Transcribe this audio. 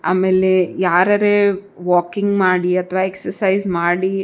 ಆಮೇಲೆ ಯಾರರೇ ವಾಕಿಂಗ್ ಮಾಡಿ ಅಥವಾ ಎಕ್ಸಸೈಸ್ ಮಾಡಿ --